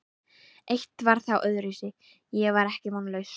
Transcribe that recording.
Eitt var þó öðruvísi: Ég var ekki vonlaus.